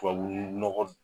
Tababuu nɔgɔ